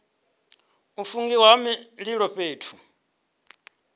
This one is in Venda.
u fungiwa ha mililo fhethu